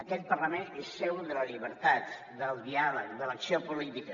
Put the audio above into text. aquest parlament és seu de la llibertat del diàleg de l’acció política